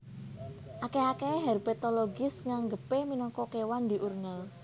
Akèh akèhé herpetologis nganggepé minangka kéwan diurnal